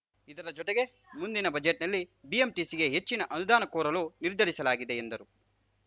ಇದರ ಜತೆಗೆ ಮುಂದಿನ ಬಜೆಟ್‌ನಲ್ಲಿ ಬಿಎಂಟಿಸಿಗೆ ಹೆಚ್ಚಿನ ಅನುದಾನ ಕೋರಲು ನಿರ್ಧರಿಸಲಾಗಿದೆ ಎಂದರು